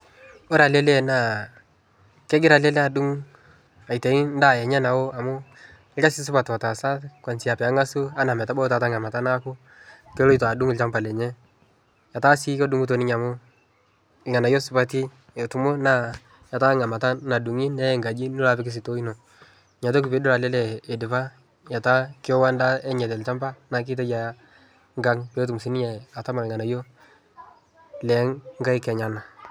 Ore ele lee naa kegira ele lee adung' aitayu endaa enye nao amu orkasi supat otaasa kaunzia peeng'asu enaa metabau taata enkamata naaku keloito adung' olchamba lenye. Etaa sii kodung'ito ninye amu irnga'nayio supati etumo naa etaa enkamata nadung'i neya nkaji nilo apik sitoo ino. Metaa ore piidol ele lee idipa etaa kewo endaa enye te nchamba naake itayu aya nkang' peetum siinye atama irng'anyio lee nkaek enyenak.